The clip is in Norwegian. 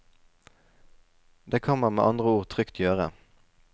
Det kan man med andre ord trygt gjøre.